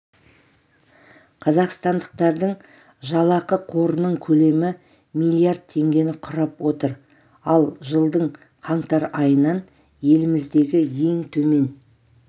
қазақстандықтардың жалақы қорының көлемі млрд теңгені құрап отыр ал жылдың қаңтар айынан еліміздегі ең төмен